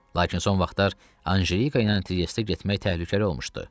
Lakin son vaxtlar Anjelika ilə Triestə getmək təhlükəli olmuşdu.